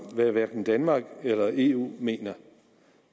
hvad hverken danmark eller eu mener